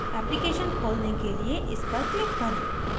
application खोलने के लिए इस पर click करें